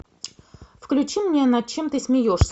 включи мне над чем ты смеешься